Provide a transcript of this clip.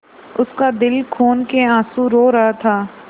उसका दिल खून केआँसू रो रहा था